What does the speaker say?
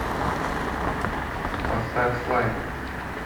поставь слайд